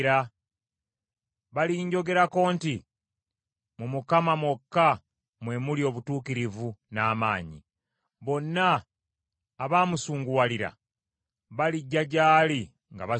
Balinjogerako nti, ‘Mu Mukama mwokka mwe muli obutuukirivu n’amaanyi.’ ” Bonna abaamusunguwalira balijja gy’ali nga baswadde.